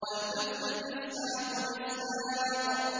وَالْتَفَّتِ السَّاقُ بِالسَّاقِ